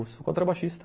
Eu... sou contrabaixista.